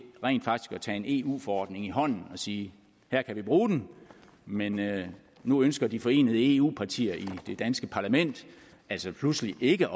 tage en eu forordning i hånden og sige her kan vi bruge den men nu ønsker de forenede eu partier i det danske parlament altså pludselig ikke